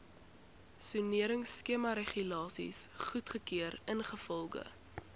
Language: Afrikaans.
soneringskemaregulasies goedgekeur ingevolge